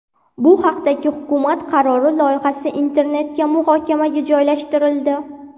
Bu haqdagi hukumat qarori loyihasi internetga muhokamaga joylashtirildi.